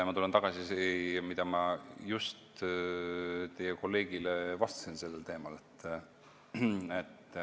Ma tulen tagasi selle juurde, mida ma just teie kolleegile sellel teemal vastasin.